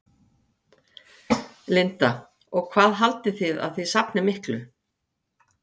Linda: Og hvað haldið þið að þið safnið miklu?